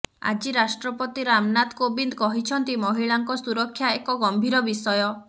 ଆଜି ରାଷ୍ଟ୍ରପତି ରାମନାଥ କୋବିନ୍ଦ କହିଛନ୍ତି ମହିଳାଙ୍କ ସୁରକ୍ଷା ଏକ ଗମ୍ଭୀର ବିଷୟ